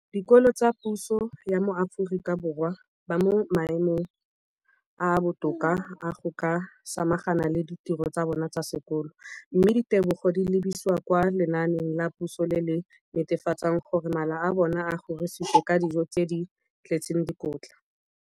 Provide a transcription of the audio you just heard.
dikolo tsa puso mo Aforika Borwa ba mo maemong a a botoka a go ka samagana le ditiro tsa bona tsa sekolo, mme ditebogo di lebisiwa kwa lenaaneng la puso le le netefatsang gore mala a bona a kgorisitswe ka dijo tse di tletseng dikotla.